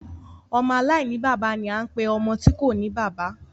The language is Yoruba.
Ọmọ aláìní bàbá ni a ń pe ọmọ tí kòní bàbá.